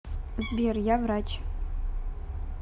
сбер я врач